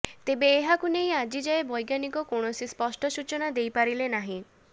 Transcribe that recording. ତେବେ ଏହାକୁ ନେଇ ଆଜି ଯାଏ ବୈଜ୍ଞାନିକ କୌଣସି ସ୍ପଷ୍ଟ ସୂଚନା ଦେଇ ପାରିଲେ ନାହିଁ